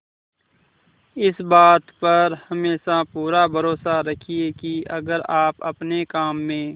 इस बात पर हमेशा पूरा भरोसा रखिये की अगर आप अपने काम में